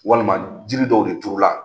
Walima jiri dɔw de turu la